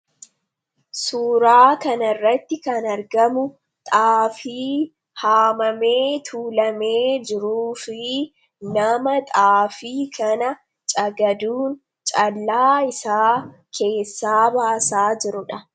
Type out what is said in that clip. Suuraa kan irratti kan argamu xaafii haamamee tuulamee jiruu fi nama xaafii kana cagaduun calaa isaa keessaa baasaa jirudha.